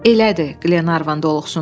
Elədir, Glenarvan doluxsundu.